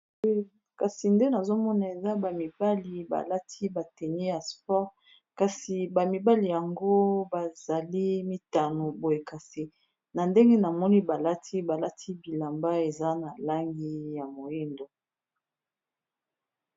Kasi nde nazomona eza bamibali balati bateni ya sport kasi bamibali yango bazali mitano boyekase na ndenge na moni balati bilamba eza na langi ya moindu